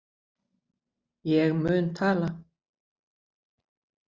Ég mun tala.